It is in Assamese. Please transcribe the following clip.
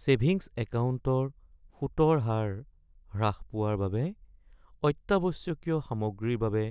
ছেভিংছ একাউণ্টৰ সুতৰ হাৰ হ্ৰাস পোৱাৰ বাবে অত্যাৱশ্যকীয় সামগ্ৰীৰ বাবে